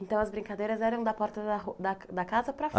Então as brincadeiras eram da porta da ru, da ca, da casa para